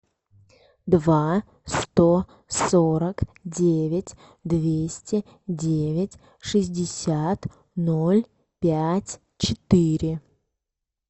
два сто сорок девять двести девять шестьдесят ноль пять четыре